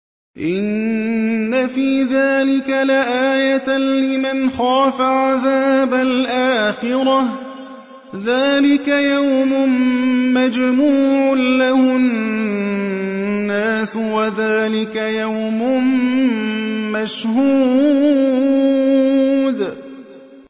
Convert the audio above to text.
إِنَّ فِي ذَٰلِكَ لَآيَةً لِّمَنْ خَافَ عَذَابَ الْآخِرَةِ ۚ ذَٰلِكَ يَوْمٌ مَّجْمُوعٌ لَّهُ النَّاسُ وَذَٰلِكَ يَوْمٌ مَّشْهُودٌ